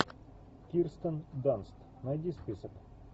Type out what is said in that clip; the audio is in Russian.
кирстен данст найди список